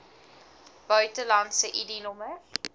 buitelandse id nommers